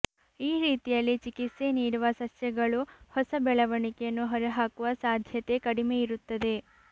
ಈ ರೀತಿಯಲ್ಲಿ ಚಿಕಿತ್ಸೆ ನೀಡುವ ಸಸ್ಯಗಳು ಹೊಸ ಬೆಳವಣಿಗೆಯನ್ನು ಹೊರಹಾಕುವ ಸಾಧ್ಯತೆ ಕಡಿಮೆ ಇರುತ್ತದೆ